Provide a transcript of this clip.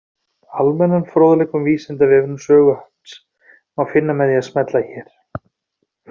Almennan fróðleik um Vísindavefinn og sögu hans má finna með því að smella hér.